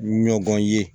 Ɲɔgɔn ye